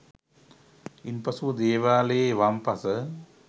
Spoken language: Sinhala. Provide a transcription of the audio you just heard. ඉන්පසුව දේවාලයේ වම් පස